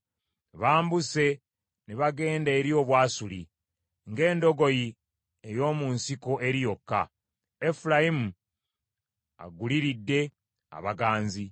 Bambuse ne bagenda eri Obwasuli, ng’endogoyi ey’omu nsiko eri yokka. Efulayimu aguliridde abaganzi.